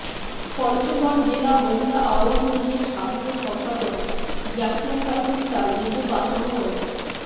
পঞ্চগড় জেলা মহিলা আওয়ামী লীগের সাধারণ সম্পাদক জাকিয়া খাতুন তার নিজ বাসভবন